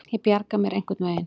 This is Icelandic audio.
Ég bjarga mér einhvern veginn.